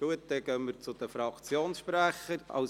Gut dann kommen wir zu den Fraktionssprechern.